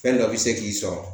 Fɛn dɔ bi se k'i sɔrɔ